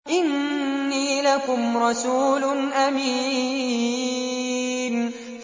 إِنِّي لَكُمْ رَسُولٌ أَمِينٌ